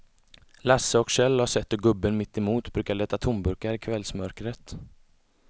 Lasse och Kjell har sett hur gubben mittemot brukar leta tomburkar i kvällsmörkret.